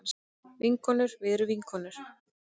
Vinkonur við erum vinkonur.